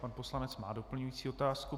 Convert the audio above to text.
Pan poslanec má doplňující otázku.